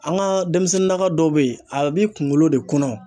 An ka denmisɛnninnaka dɔw bɛ yen, a b'i kunkolo de kɔnɔ .